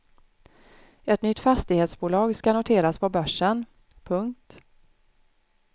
Ett nytt fastighetsbolag ska noteras på börsen. punkt